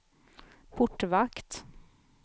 portvakt